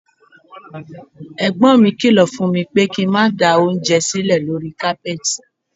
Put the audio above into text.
Ẹ̀gbọ́n mi kílọ̀ fún mi pé kí n má da oúnjẹ sílẹ̀ lórí kápẹ́ẹ̀tì.